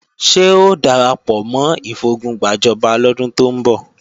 Ṣé o darapọ̀ mọ́ ìfogun gbàjọba lọ́dún tó ń bọ̀?